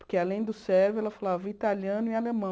Porque, além do sérvio, ela falava italiano e alemão.